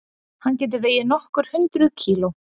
Hann getur vegið nokkur hundruð kíló.